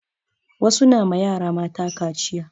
Wasu na ma yara mata kaciya